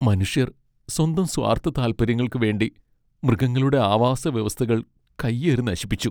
മനുഷ്യർ സ്വന്തം സ്വാർത്ഥ താല്പര്യങ്ങൾക്ക് വേണ്ടി മൃഗങ്ങളുടെ ആവാസവ്യവസ്ഥകൾ കൈയേറി നശിപ്പിച്ചു.